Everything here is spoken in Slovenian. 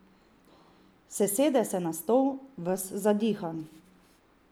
Sesede se na stol, ves zadihan.